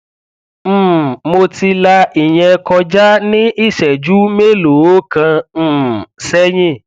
um mo ti la ìyẹn kọjá ní ìṣẹjú mélòó kan um sẹyìn